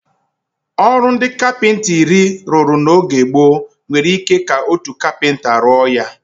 Ọrụ ndị kapịnta iri rụrụ n'oge gboo, nwere ike ka otu kapịnta rụọ ya.